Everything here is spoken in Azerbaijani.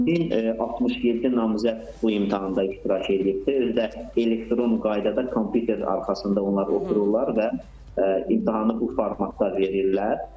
1067 namizəd bu imtahanda iştirak eləyibdir, özü də elektron qaydada kompyuter arxasında onlar otururlar və imtahanı bu formatda verirlər.